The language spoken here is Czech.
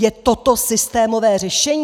Je toto systémové řešení?